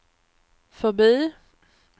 förbi